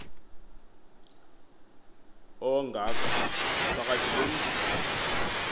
ongaka phakathi komzi